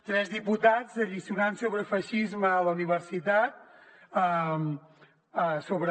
tres diputats alliçonant sobre feixisme a la universitat sobre